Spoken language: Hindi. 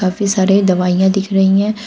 काफी सारे दवाईयां दिख रहे हैं।